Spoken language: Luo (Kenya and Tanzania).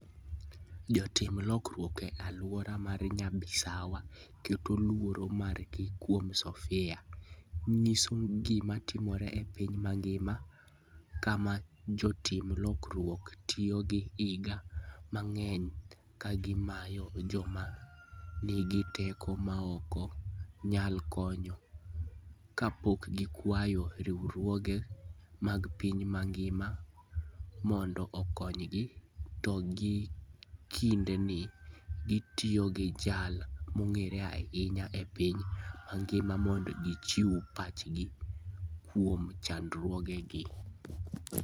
Jotim lokruok e alwora mar Nyabisawa keto luoro margi kuom Sofia, nyiso gima timore e piny mangima, kama jotim lokruok tiyo gi higini mang'eny ka gimanyo joma nigi teko maok nyal kony, kapok gikwayo riwruoge mag piny mangima mondo okonygi, to gie kindeni, gitiyo gi jal mong'ere ahinya e piny mangima mondo gichiw pachgi kuom chandruogegi.